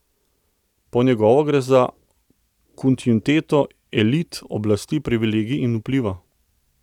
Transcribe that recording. Po njegovo gre za kontinuiteto elit, oblasti, privilegijev in vpliva.